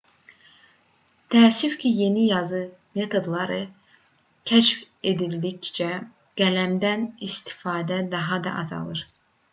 təəssüf ki yeni yazı metodları kəşf edildikcə qələmdən istifadə daha da azaldı